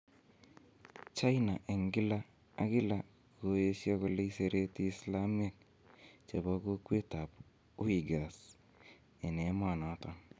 China en kila ak kila koyesio kole isereti islamiek chebo kokwetab Uighurs en emonoton.